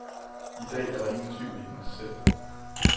I dag er der ingen tvivl i hendes sind.